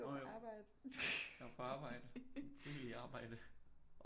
Nå jo jeg var på arbejde mit frivillige arbejde